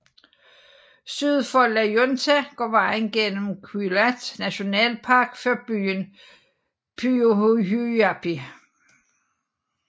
Syd for La Junta går vejen igennem Queulat Nationalpark før byen Puyuhuapi